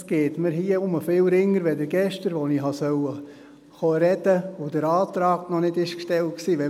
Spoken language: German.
Es fällt mir hier viel leichter als gestern, als ich hätte reden kommen sollen, als der Antrag noch nicht gestellt war.